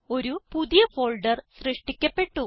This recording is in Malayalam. ഒരു പുതിയ ഫോൾഡർ സൃഷ്ടിക്കപ്പെട്ടു